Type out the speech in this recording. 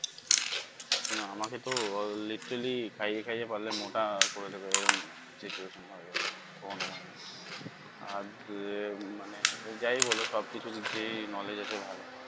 মানে আমাকে তো আহ literally খাইয়ে খাইয়ে পারলে মোটা করে দেবে এরম situation হবে কখনো কখনো। আর যে মানে যাই বলো সব কিছুর দিক দিয়ে knowledge আছে ভালো